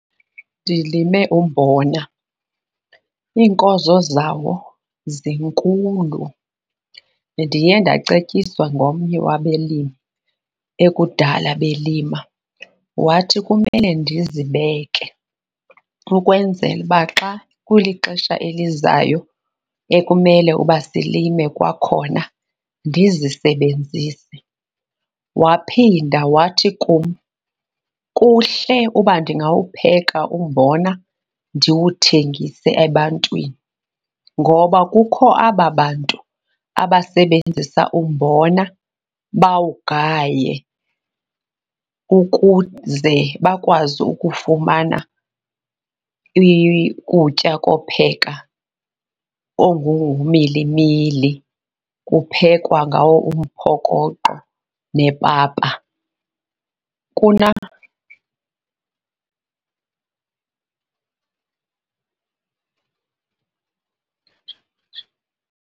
Ndilime umbona, iinkozo zawo zinkulu. Ndiye ndacetyiswa ngomnye wabelimi ekudala belima, wathi kumele ndizibeke ukwenzela uba xa kulixesha elizayo ekumele uba silime kwakhona ndizisebenzise. Waphinda wathi kum, kuhle uba ndingawupheka umbona ndiwuthengise ebantwini. Ngoba kukho aba bantu abasebenzisa umbona bawugaye ukuze bakwazi ukufumana ukutya kopheka, ngumilimili. Kuphekwa ngawo umphokoqo nepapa, .